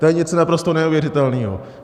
To je něco naprosto neuvěřitelného.